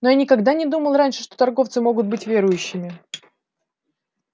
но я никогда не думал раньше что торговцы могут быть верующими